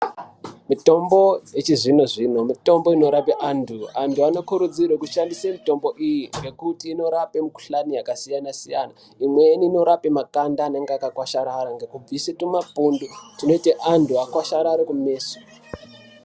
Mitombo dzechizvino zvino mitombo inorape anthu, anthu anokurudzirwe kushandise mitombo iyi ngekuti inorape mikuhlani yakasiyana siyana imweni inorape makanda anenge akakwasharara ngekubvise tumapundu tunoite anthu akwasharare kumeso.